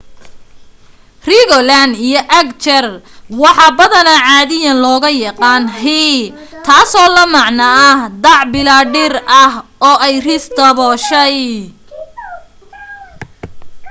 rigoland iyo agder waxa badanaa caadiyan looga yaqaano hei taasoo la macno dac bilaa dhir ah oo ay ris dabooshay